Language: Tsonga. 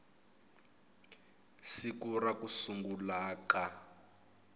siku ra ku sungula ka